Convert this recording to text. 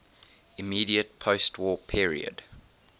immediate postwar period